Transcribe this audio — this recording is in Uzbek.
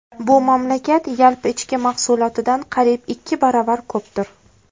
Bu mamlakat yalpi ichki mahsulotidan qariyb ikki barobar ko‘pdir.